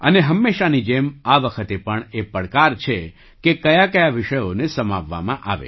અને હંમેશાંની જેમ આ વખતે પણ એ પડકાર છે કે કયાકયા વિષયોને સમાવવામાં આવે